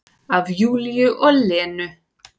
Af Júlíu og Lenu.